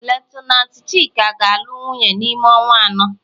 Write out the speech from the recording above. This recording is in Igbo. lieutenanti Chika ga-alụ wunye n'ime ọnwa anọ.